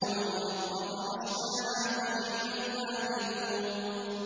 وَالْأَرْضَ فَرَشْنَاهَا فَنِعْمَ الْمَاهِدُونَ